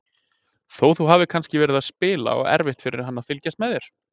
Þó þú hafir kannski verið að spila og erfitt fyrir hann að fylgjast með þér?